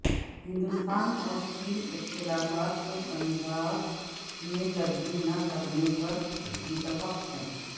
ہندوستان اور چین اختلافات کو تنازعات میں تبدیل نہ کرنے پر متفق ہیں